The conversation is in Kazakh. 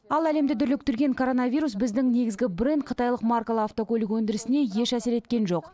ал әлемді дүрліктірген коронавирус біздің негізгі бренд қытайлық маркалы автокөлік өндірісіне еш әсер еткен жоқ